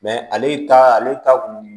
ale ta ale ta kun